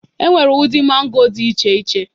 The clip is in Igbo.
Enwere ụdị mango dị iche iche.